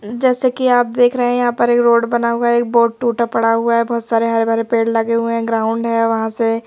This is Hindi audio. जैसे कि आप देख रहे हैं यहां पर एक रोड बना हुआ एक बोर्ड टूटा पड़ा हुआ है बहोत सारे हरे भरे पेड़ लगे हुए हैं ग्राउंड है वहां से--